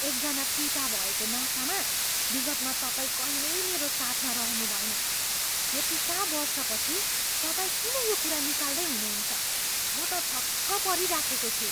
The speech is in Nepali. एकजना पिता भएको नातामा विगतमा तपाईँ कहिल्यै मेरो साथमा रहनुभएन। यतिका वर्षपछि तपाईँ किन यो कुरा निकाल्दै हुनुहुन्छ? म त छक्क परिराखेको छु।